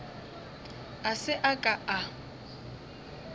a se a ka a